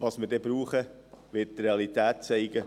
Wie viel wir dann brauchen werden, wird die Realität zeigen.